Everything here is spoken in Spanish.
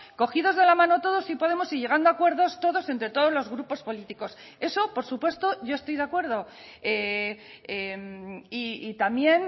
cogidos de la mano todos si podemos y llegando a acuerdos todos entre todos los grupos políticos eso por supuesto yo estoy de acuerdo y también